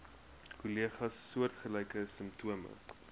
kollegas soortgelyke simptome